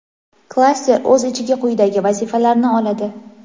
klaster o‘z ichiga quyidagi vazifalarni oladi:.